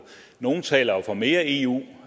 nogle taler jo for mere eu